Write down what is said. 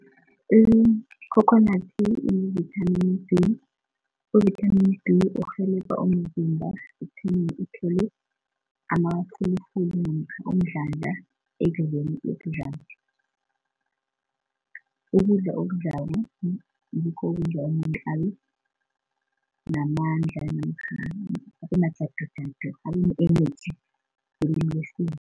Ikhokhonadi inevithamini D, uvithamini D urhelebha umzimba ekutheni uthole amafulufulu namkha umdlandla ekudleni okudlako ukudla okudlako ngikho namadla namkha energy ngelimi lesiyeni.